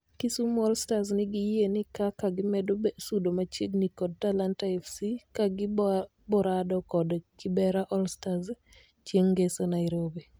Kisumu All Stars nigi yie ni kaka gimedo sudo machiegni kod Talanta Fc ka gi borado kod Kibera all starz chieng ngeso nairobi